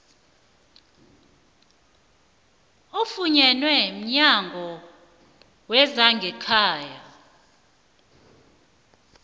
ofunyenwe mnyango wezangekhaya